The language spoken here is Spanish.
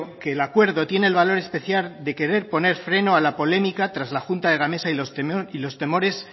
que el acuerdo tiene el valor especial de querer poner freno a la polémica tras la junta de gamesa y los temores